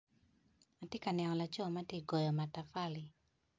Atye ka neno laco matye ka goyo matapali